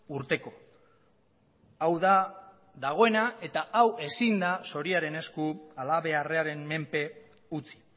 urteko hau da dagoena eta hau ezin da zoriaren esku halabeharraren menpe utzi